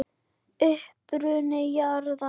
Uppruni jarðar